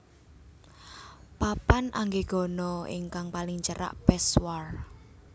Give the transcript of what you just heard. Papan Anggegana ingkang paling cerak Peshwar